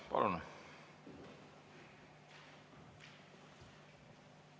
Palun!